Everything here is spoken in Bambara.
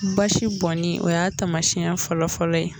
Basi bɔni o y'a tamasiɲɛ fɔlɔfɔlɔ ye.